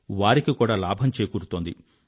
వారికి లాభం కూడా చేకూరుతోంది